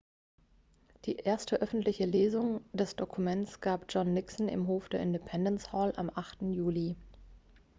die erste öffentliche lesung des dokuments gab john nixon im hof der independence hall am 8. juli